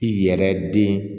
I yɛrɛ den